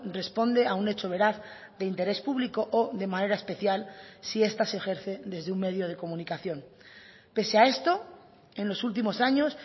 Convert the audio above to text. responde a un hecho veraz de interés público o de manera especial si esta se ejerce desde un medio de comunicación pese a esto en los últimos años